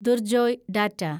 Durjoy data